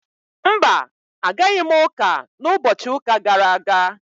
Mba, Agaghị m uka na ubochi uka gara aga